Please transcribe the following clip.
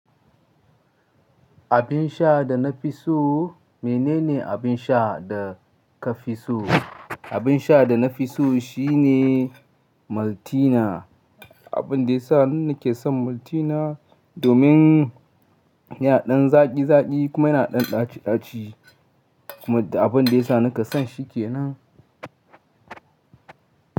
Abin sha da na fi so, menene abin sha da ka fi so? Abin sha da na fi so shine Maltina. Abin da ya sa ni nake son Maltina domin yana ɗan zaƙi zaƙi kuma yana ɗan ɗaci ɗaci kuma abin da ya sa nake son shi ke nan.